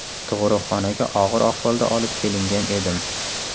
Tug‘uruqxonaga og‘ir ahvolda olib kelingan edim.